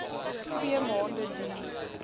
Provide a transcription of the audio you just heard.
twee maande duur